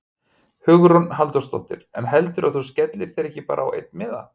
Hugrún Halldórsdóttir: En heldurðu að þú skellir þér ekki bara á einn miða?